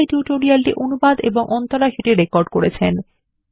এই টিউটোরিয়াল এ অংশগ্রহন করার জন্য ধন্যবাদ